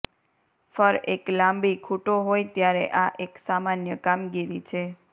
ફર એક લાંબી ખૂંટો હોય ત્યારે આ એક સામાન્ય કામગીરી છે